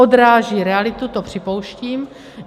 Odráží realitu, to připouštím.